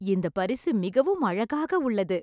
இந்தப் பரிசு மிகவும் அழகாக உள்ளது